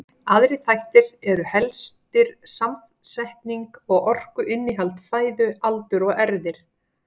Aðrir þættir eru helstir samsetning og orkuinnihald fæðu, aldur og erfðir.